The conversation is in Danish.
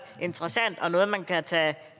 interessant og noget man kan tage